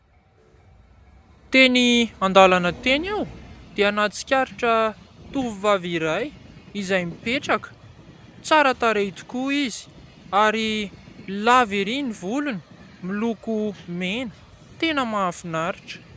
Teny an-dalana teny aho dia nahatsikaritra tovovavy iray izay mipetraka. Tsara tarehy tokoa izy, ary lava ery ny volony, miloko mena, tena mahafinaritra.